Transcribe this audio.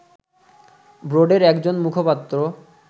বোর্ডের একজন মুখপাত্র